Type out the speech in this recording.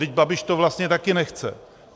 Vždyť Babiš to vlastně taky nechce.